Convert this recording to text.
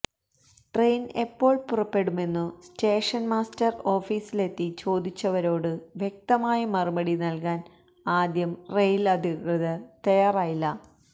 train എപ്പോൾ പുറപ്പെടുമെന്നു station master ഓഫിസിലെത്തി ചോദിച്ചവരോടു വ്യക്തമായ മറുപടി നൽകാന് ആദ്യം റെയിൽ അധികൃതർ തയാറായില്ല